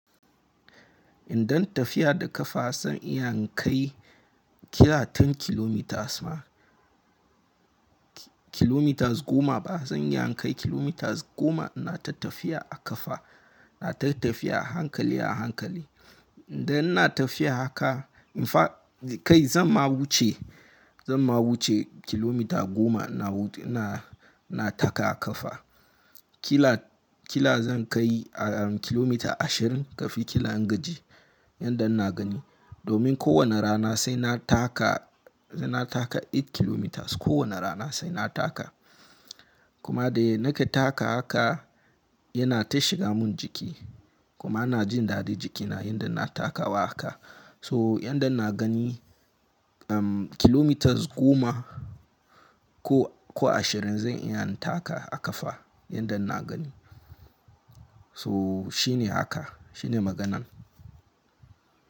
Idan tafiya da kafa zan iya in kai kila goma kilometers ma, kilometers goma ba zan iya in kai kilometers goma ina ta tafiya a kafa, ina ta tafiya a hankali a hankali. Da ina tafiya haka in fa kai zan ma wuce, zan ma wuce kilometer goma ina na taka a ƙafa. Ƙila, ƙila zan kai kilometer ashirin kafin ƙila ingaji, yanda ina gani. Domin kowane rana sai na taka, sai na taka takwas kilometers. Kowane rana sai na taka. Kuma da nake taka haka yana ta shiga mun jiki. Kuma ina jin daɗin jikina yanda ina takawa haka. So yanda ina gani kilometers goma ko, ko ashirin zan iya in taka a ƙafa yanda ina gani. So shi ne haka, shi ne maganan.